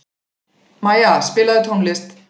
Maja, spilaðu tónlist.